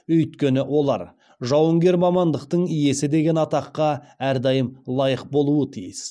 өйткені олар жауынгер мамандықтың иесі деген атқа әрдайым лайық болуы тиіс